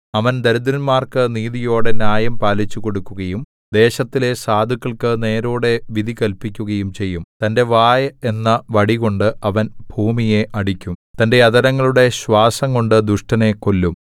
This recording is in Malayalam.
അവൻ ദരിദ്രന്മാർക്ക് നീതിയോടെ ന്യായം പാലിച്ചുകൊടുക്കുകയും ദേശത്തിലെ സാധുക്കൾക്കു നേരോടെ വിധി കല്പിക്കുകയും ചെയ്യും തന്റെ വായ് എന്ന വടികൊണ്ട് അവൻ ഭൂമിയെ അടിക്കും തന്റെ അധരങ്ങളുടെ ശ്വാസംകൊണ്ടു ദുഷ്ടനെ കൊല്ലും